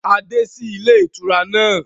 A dé sí ilé ìtura náà